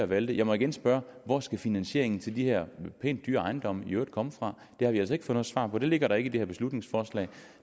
valte jeg må igen spørge hvor skal finansiering til de her pænt dyre ejendomme i øvrigt komme fra det har vi altså ikke noget svar på det ligger der ikke det her beslutningsforslag